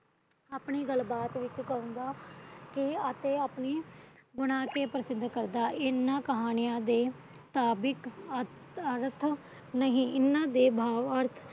ਆਪਣੀ ਗੱਲਬਾਤ ਵਿੱਚ ਕਹਾਉਦਾ ਤੇ ਆਪਣੇ ਗੁਣਾ ਤੇ ਇਹਨਾ ਕਹਾਣੀਆਂ ਅਤੇ ਅਰਥ ਨਹੀਂ ਇਹਨਾਂ ਦੇ ਸੁਭਾਵਿਕ